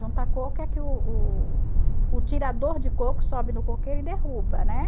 Juntar coco é que o o tirador de coco sobe no coqueiro e derruba, né?